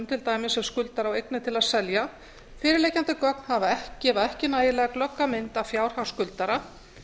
til dæmis ef skuldari á eignir til að selja fyrirliggjandi gögn gefa ekki nægilega glögga mynd af fjárhag skuldara